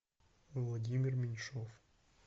владимир меньшов